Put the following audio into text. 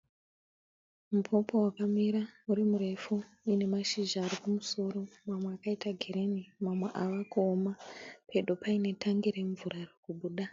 Mupopo wakamira uri murefu uine mashizha ari kumusoro mamwe akaita girini mamwe ava kuoma. Pedo paine tangi remvura riri kubuda.